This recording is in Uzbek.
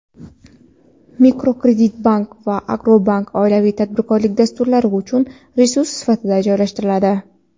Mikrokreditbank va Agrobankka oilaviy tadbirkorlik dasturlari uchun resurs sifatida joylashtiradi.